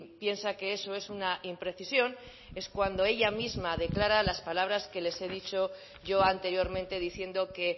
piensa que eso es una imprecisión es cuando ella misma declara las palabras que les he dicho yo anteriormente diciendo que